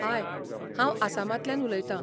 हाय! हांव आसामांतल्यान उलयतां.